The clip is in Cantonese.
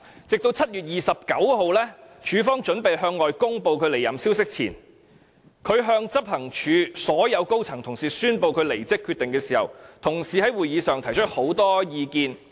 直到7月29日，署方準備向外公布其離任消息前，他向執行處所有高層人員宣布其離職決定，彼此在會議上交換了很多意見。